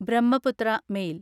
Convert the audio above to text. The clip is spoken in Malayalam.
ബ്രഹ്മപുത്ര മെയിൽ